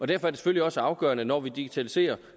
det selvfølgelig også afgørende når vi digitaliserer